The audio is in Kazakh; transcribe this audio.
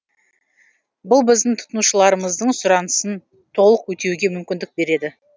бұл біздің тұтынушыларымыздың сұранысын толық өтеуге мүмкіндік береді